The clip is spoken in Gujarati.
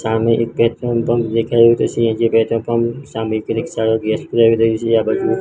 સામે એક પેટ્રોલ પંપ દેખાય રહ્યું છે પેટ્રોલ પંપ સામે એક રિક્ષા ગેસ પુરાવી રહી છે આ બાજુ